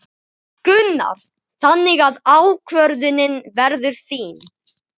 Gunnar: Þannig að ákvörðunin verður þín?